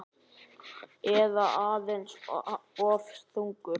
Eða aðeins of þungur?